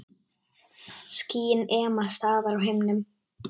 Skýin ema staðar á himnum.